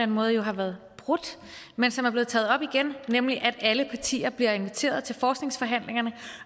måde har været brudt men som er blevet taget op igen nemlig at alle partier bliver inviteret til forskningsforhandlingerne